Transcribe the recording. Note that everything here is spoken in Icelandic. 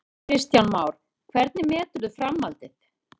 Kristján Már: Hvernig meturðu framhaldið?